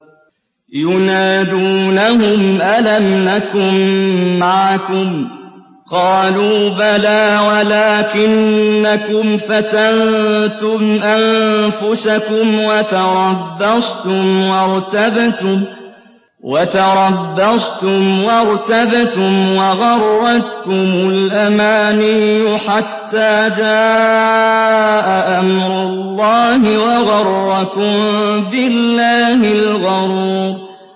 يُنَادُونَهُمْ أَلَمْ نَكُن مَّعَكُمْ ۖ قَالُوا بَلَىٰ وَلَٰكِنَّكُمْ فَتَنتُمْ أَنفُسَكُمْ وَتَرَبَّصْتُمْ وَارْتَبْتُمْ وَغَرَّتْكُمُ الْأَمَانِيُّ حَتَّىٰ جَاءَ أَمْرُ اللَّهِ وَغَرَّكُم بِاللَّهِ الْغَرُورُ